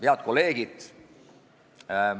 Head kolleegid!